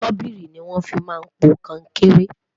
sobiìri ní wón fí má n pò konkere